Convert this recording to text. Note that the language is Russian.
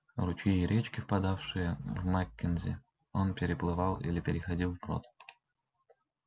ручьи и речки впадавшие в маккензи он переплывал или переходил вброд